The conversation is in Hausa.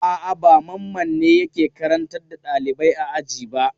A'a, ba Mamman ne yake karantar da ɗalibai a aji ba.